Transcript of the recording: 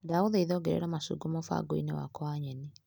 Ndagũthaitha ongerera macungwa mũbango-inĩ wakwa wa nyeni .